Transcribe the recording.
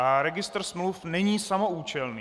A registr smluv není samoúčelný.